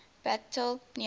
battle near bar